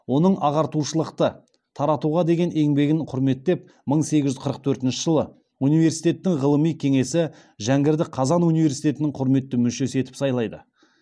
оның ағартушылықты таратуға деген еңбегін құрметтеп мың сегіз жүз қырық төртінші жылы университеттің ғылыми кеңесі жәңгірді қазан университетінің құрметті мүшесі етіп сайлайды